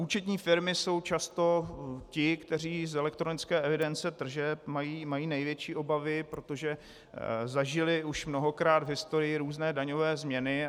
Účetní firmy jsou často ty, které z elektronické evidence tržeb mají největší obavy, protože zažily už mnohokrát v historii různé daňové změny.